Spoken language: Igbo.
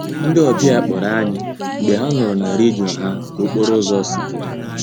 Ndị ọbịa kpọrọ anyị mgbe ha nụrụ na redio ha ka okporo ụzọ si dị